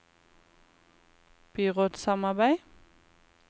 byrådssamarbeid